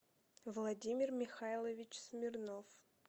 владимир михайлович смирнов